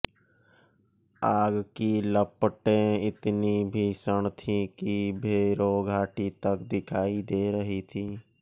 आग की लपटें इतनी भीषण थीं कि भैरो घाटी तक दिखाई दे रही थीं